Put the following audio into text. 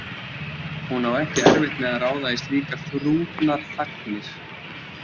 Hún á ekki erfitt með að ráða í slíkar þrungnar þagnir.